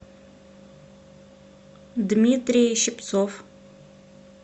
дмитрий щипцов